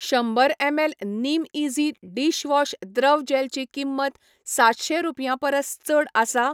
शंबर एमएल निमईझी डिशवॉश द्रव जॅलची किंमत सातशे रुपयां परस चड आसा?